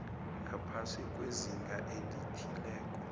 ngaphasi kwezinga elithileko